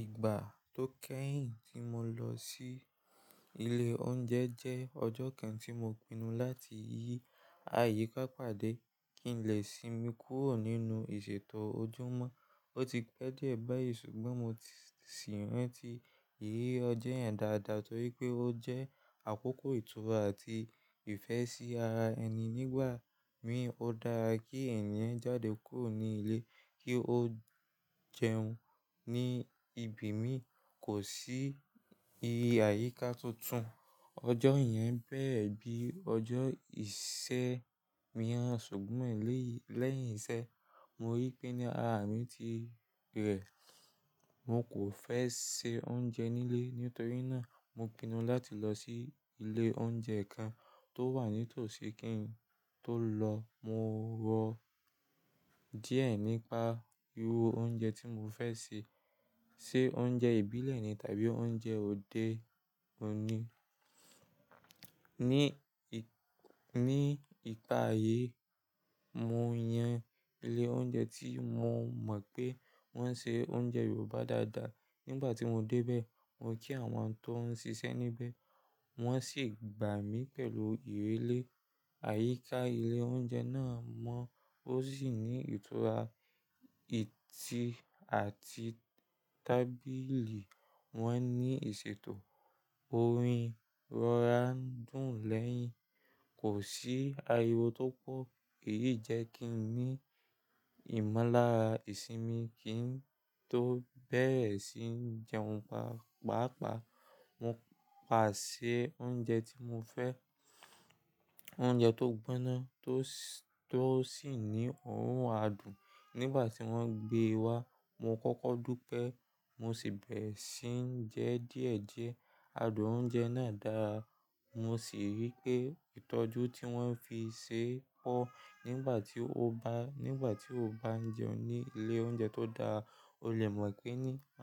Ìgbà tó kẹ́yìn tí mo lọ sí ilé oúnjẹ jẹ́ ọjọ́ kan tí mo pinnu láti yí àyíká pàdé kí n lẹ̀ sínmi kúrò nínú ìṣètò ojúmọ́. Ó ti pẹ́ díẹ̀ báyìí ṣùgbọ́n mo sì ń rántí ìyí ọjọ́ yẹn dáadáa torí pé ó jẹ́ àkókò ìtura àti ìfẹ́ sí ara ẹni. Nígbà mí, ó dára kí ènìyàn jáde kúrò ní ilé kí ó jẹun. Ni ibo mi kò sí àyíká tuntun. Ọjọ́ yẹn bẹ́rẹ̀ bí ọjọ́ ìṣe miirán ṣùgbọ́n lẹ́yìn iṣẹ́ mo rí pé ní ara mi ti rẹ̀. Mo kò fẹ́ se oúnjẹ nílé. Nítorí náà mo pinnu láti lọ sí ilé oúnjẹ kan tó wà ní tòsí. Kí n tó lọ, mo rò díẹ̀ nípa irú oúnjẹ tí mo fẹ́ se: ṣe oúnjẹ ìbílẹ̀ ni tàbí oúnjẹ òde òní. Ni ìpà ìyi mo yan ilé oúnjẹ tí mo mọ̀ pé wọ́n ń se oúnjẹ Yorùbá dáadáa. Nígbà tí mo débẹ̀, mo kí àwọn tóún ṣiṣẹ́ níbẹ̀, wọ́n sì gbà mí pẹ̀lú ìrẹ̀lẹ̀. Àyíká ilé oúnjẹ náà mọ́, ósì ní ìtura ìtẹ́ àti tábìlì wọ́n ní ìṣètò, orin rọra ń dùn lẹ́yìn, kò sí ariwo tó pọ̀. Èyí jẹ́ kí n ní ìmọ́lára ìsinmi. Kí n tó bẹ̀rẹ̀ sí ń jẹun pàápàá, mo pàṣẹ oúnjẹ tí mo fẹ́, oúnjẹ tó gbóná tó sì ní òrùn adùn. Nígbà tí wọ́n gbé e wá, mo kọ́kọ́ dúpẹ́ mo sì bẹ̀rẹ̀ sí ń jẹ díẹ̀díẹ̀. Adùn oúnjẹ náà dára. Mo sì rí pé ìtọ́jú tí wọ́n fi ṣe pọ̀. Nígbà tí o bá ń jẹun ní ilé oúnjẹ tó dára, o lè mọ̀ pé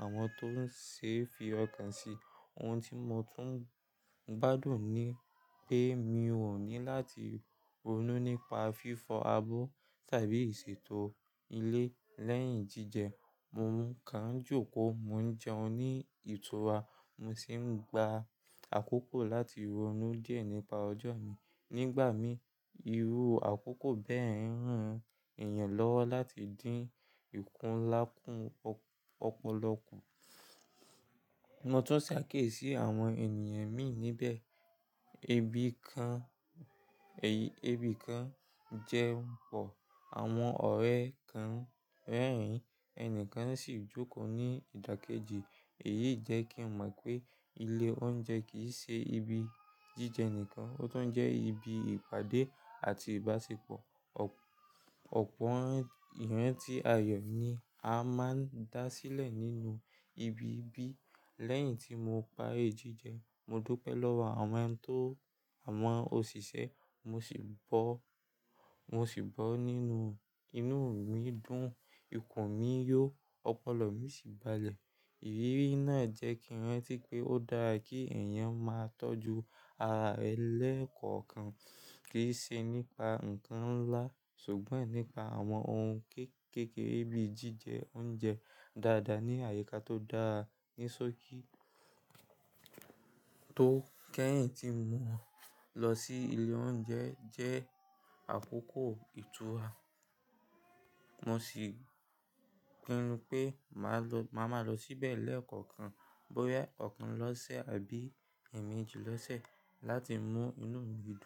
àwọn tó ṣe fi ọkàn si. Ohun tí mo tún gbádùn ni pé mi ò ní láti ronú nípa fífọ̀ abọ́ tàbí ìṣètò ilé lẹ́yìn jíjẹ. Mo kàn ń jókòó, mo ń jẹun ní ìtura mo sì ń gba àkókò láti ronú díẹ̀ nípa ọjọ́ mi. Nígbà mí, irú àkókò bẹ́ẹ̀ ń ran èèyàn lọ́wọ́ láti dín ìkúnlá kún lọpọlọpọ. Mo tún ṣe àkéyì sí àwọn ènìyàn mìí níbẹ̀. Ẹbí kan jẹun pọ̀, àwọn ọ̀rẹ́ kan rẹ́rìn-ín, ẹni kan sì jókòó ní ìdákẹ́jì. Èyí jẹ́ kí n mọ̀ pé ilé oúnjẹ kì í ṣe ibi jíjẹ nìkan, ó tún jẹ́ ibi ìpàdé àti ìbáṣepọ̀. Ọ̀pọ̀ ìran tí ayọ̀ ni a máa ń dá sílẹ̀ nínú ibi bí. Lẹ́yìn tí mo parí jíjẹ, mo dúpẹ́ lọ́wọ́ àwọn òṣìṣẹ́ mo sì bọ̀, mo sì bọ́ nínú, inú mi dùn, ikùn mi yó, ọpọlọ mi sì balẹ̀. Ìrírí náà jẹ́ kí n rántí pé ó dára kí èèyàn máa tọ́jú ara rẹ̀ lẹ́ẹ̀kọ̀ọ̀kan. Kì í ṣe nípa nǹkan ńlá ṣùgbọ́n nípa àwọn ohun kéékèèké bí jíjẹ oúnjẹ dáadáa ní àyíká tó dára. Nísòkí, ìgbà tó kẹ́yìn tí mo lọ sílé oúnjẹ jẹ́ àkókò ìtura. Mo sì pinu pé mà má lọ síbẹ̀ lẹ́ẹ̀kọ̀ọ̀kan, bóyá ẹ̀kan lọ́sẹ̀ tàbí èèmejì lọ́sẹ̀. Láti mú inú mi dùn.